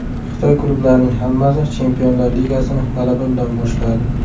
Xitoy klublarining hammasi Chempionlar ligasini g‘alaba bilan boshladi.